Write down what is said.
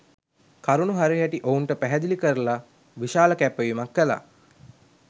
කරුණු හරිහැටි ඔවුන්ට පැහැදිළි කරලා විශාල කැපවීමක් කළා